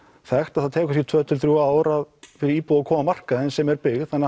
þekkt að það tekur tvö til þrjú ár fyrir íbúð að koma á markaðinn sem er byggð þannig